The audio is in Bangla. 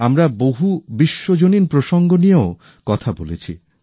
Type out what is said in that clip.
আমরা বহু বিশ্বজনীন প্রসঙ্গ নিয়েও কথা বলেছি